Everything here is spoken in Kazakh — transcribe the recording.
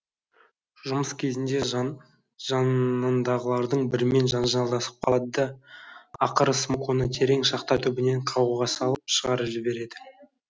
жұмыс кезінде жанынндағылардың бірімен жанжалдасып қалады да ақыры смок оны терең шахта түбінен қауғаға салып шығарып жібереді